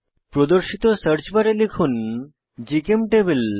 প্রদর্শিত সার্চ বারে লিখুন জিচেমটেবল